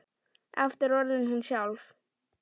Aftur orðin hún sjálf.